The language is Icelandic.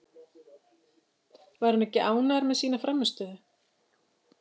Var hann ekki ánægður með sína frammistöðu?